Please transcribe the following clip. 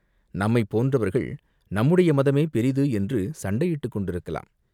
நம்மைப் போன்றவர்கள் நம்முடைய மதமே பெரிது என்று சண்டையிட்டுக் கொண்டிருக்கலாம்.